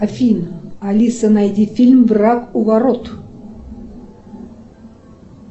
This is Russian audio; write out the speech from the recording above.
афина алиса найди фильм враг у ворот